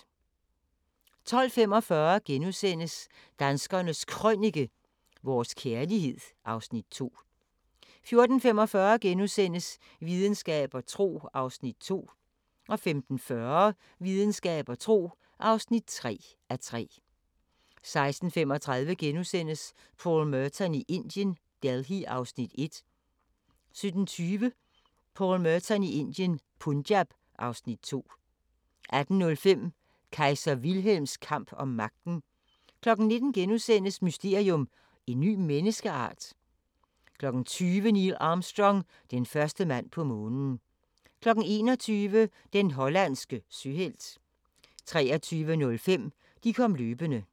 12:45: Danskernes Krønike - vores kærlighed (Afs. 2)* 14:45: Videnskab og tro (2:3)* 15:40: Videnskab og tro (3:3) 16:35: Paul Merton i Indien – Delhi (Afs. 1)* 17:20: Paul Merton i Indien – Punjab (Afs. 2) 18:05: Kejser Wilhelms kamp om magten 19:00: Mysterium: En ny menneskeart? * 20:00: Neil Armstrong – den første mand på Månen 21:00: Den hollandske søhelt 23:05: De kom løbende